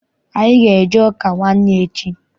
Anyị ga- eje ụka nwanne echi.